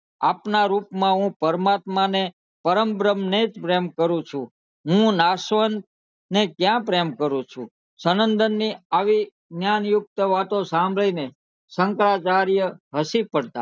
આપના રૂપ માં હું પરમાત્મા ને પરમબ્રહ્મ ને જ પ્રેમ કરું છું હું નાશવંત ને ક્યાં પ્રેમ કરું છુ સનંદન ની આવી જ્ઞાની યુક્ત વાતો સાંભળી ને શંકરાચાર્ય હસી પડતા